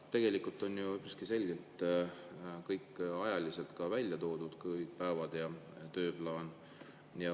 Tegelikult on siin ju kõik ajaliselt selgelt välja toodud, nii päevad kui ka tööplaan.